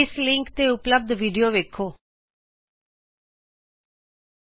ਇਸ ਲਿਂਕ ਤੇ ਉਪਲੱਭਦ ਵਿਡਿਓ ਦੇਖੋ httpspoken tutorialorgWhatis a spoken tutorial